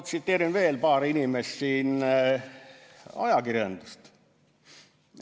Tsiteerin ajakirjanduse kaudu veel paari inimest.